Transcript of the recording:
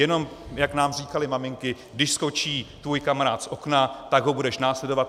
Jenom, jak nám říkaly maminky: Když skočí tvůj kamarád z okna, tak ho budeš následovat?